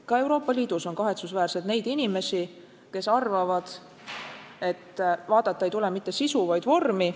Ka Euroopa Liidus on kahetsusväärselt inimesi, kes arvavad, et vaadata ei tule mitte sisu, vaid vormi.